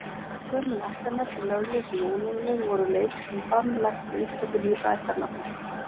Gömul ættarnöfn, lögleg sem ólögleg, voru leyfð, en bann lagt við upptöku nýrra ættarnafna.